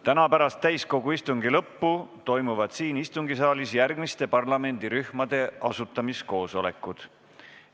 Täna pärast täiskogu istungi lõppu toimuvad siin istungisaalis järgmiste parlamendirühmade asutamiskoosolekud.